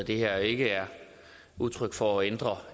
det her ikke er udtryk for at ændre